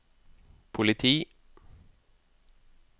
politi